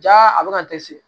Ja a bɛ ka dɛsɛ